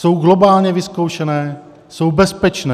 Jsou globálně vyzkoušené, jsou bezpečné.